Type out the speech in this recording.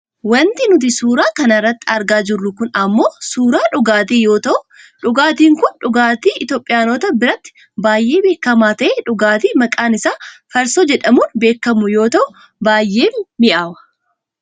Wanti nuti suuraa kana irratti argaa jirru kun ammoo suuraa dhugaatii yoo ta'u dhugaatiin kun dhugaatii Itoopiyaanota biratti baayyee beekkama ta'e dhugaatii maqaan isaa farsoo jedhamuun beekkamu yoo ta'u baayyee mi'aawa